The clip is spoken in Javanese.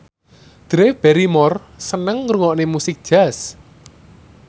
Drew Barrymore seneng ngrungokne musik jazz